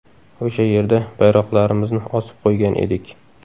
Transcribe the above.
O‘sha yerda bayroqlarimizni osib qo‘ygan edik.